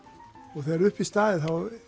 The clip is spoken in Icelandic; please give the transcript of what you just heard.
og þegar upp er staðið